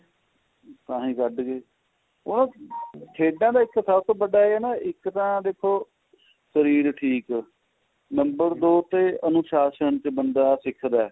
ਤਾਹੀ ਕੱਡ ਉਹ ਤਾਂ ਖੇਡਾ ਦੇ ਵਿਚ ਸਭ ਤੋ ਵਡਾ ਇਹ ਹੈ ਨਾ ਇੱਕ ਤਾਂ ਦੇਖੋ number ਦੋ ਤੇ ਅਨੁਸ਼ਾਨ ਤੇ ਬੰਦਾ ਸਿਖਦਾ